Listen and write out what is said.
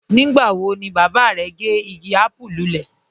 Nígbà wọ̀ ni baba rẹ̀ gẹ́ igi àpùú lúlẹ̀?